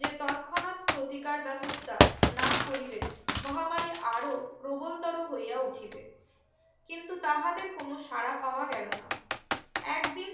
যে তৎক্ষণাৎ ক্ষতি কার ব্যবস্থা না করিলে মহামারি আরো প্রবল তরও হইয়া উঠিবে কিন্তু তাহাদের কোনো সারা পাওয়া গেলো না একদিন